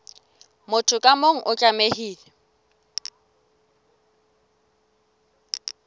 motho ka mong o tlamehile